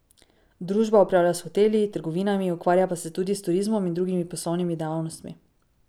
Družba upravlja s hoteli, trgovinami, ukvarja pa se tudi s turizmom in drugimi poslovnimi dejavnostmi.